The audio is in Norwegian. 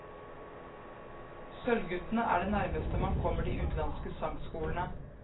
Sølvguttene er det nærmeste man kommer de utenlandske sangskolene.